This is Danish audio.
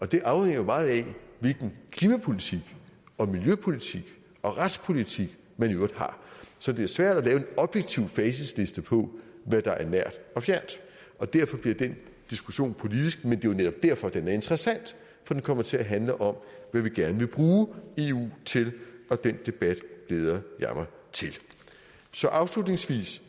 det afhænger meget af hvilken klimapolitik og miljøpolitik og retspolitik man i øvrigt har så det er svært at lave en objektiv facitliste på hvad der er nært og fjernt derfor bliver den diskussion politisk men det er jo netop derfor at den er interessant for den kommer til at handle om hvad vi gerne vil bruge eu til og den debat glæder jeg mig til så afslutningsvis